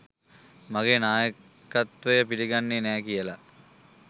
මගේ නායකත්වය පිළිගන්නේ නෑ කියලා.